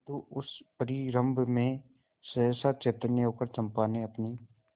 किंतु उस परिरंभ में सहसा चैतन्य होकर चंपा ने अपनी